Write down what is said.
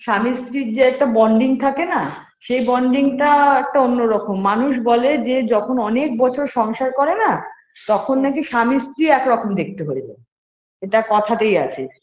স্বামী স্ত্রীর যে একটা bonding থাকে না সেই bonding টা একটা অন্য রকম মানুষ বলে যে যখন অনেক বছর সংসার করে না তখন নাকি স্বামী স্ত্রী এক রকম দেখতে হয়ে যায় এটা কথাতেই আছে